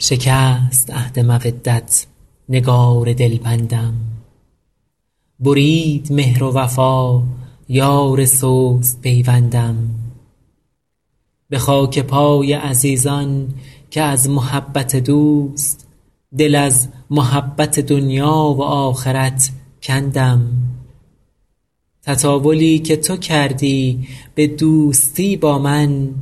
شکست عهد مودت نگار دلبندم برید مهر و وفا یار سست پیوندم به خاک پای عزیزان که از محبت دوست دل از محبت دنیا و آخرت کندم تطاولی که تو کردی به دوستی با من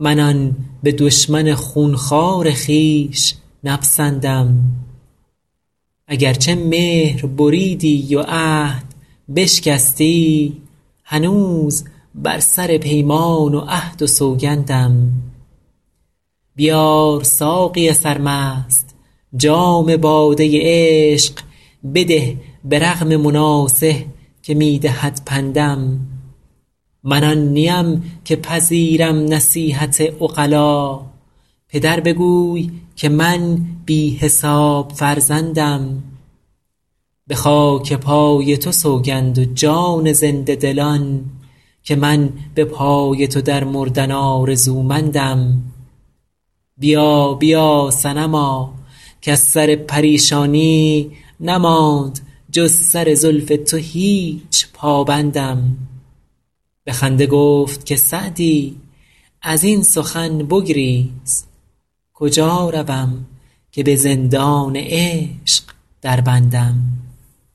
من آن به دشمن خون خوار خویش نپسندم اگر چه مهر بریدی و عهد بشکستی هنوز بر سر پیمان و عهد و سوگندم بیار ساقی سرمست جام باده عشق بده به رغم مناصح که می دهد پندم من آن نیم که پذیرم نصیحت عقلا پدر بگوی که من بی حساب فرزندم به خاک پای تو سوگند و جان زنده دلان که من به پای تو در مردن آرزومندم بیا بیا صنما کز سر پریشانی نماند جز سر زلف تو هیچ پابندم به خنده گفت که سعدی از این سخن بگریز کجا روم که به زندان عشق دربندم